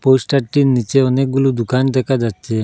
পোস্টারটির নীচে অনেকগুলো দুকান দেখা যাচ্ছে।